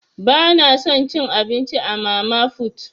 Bana son cin abinci a mama fut.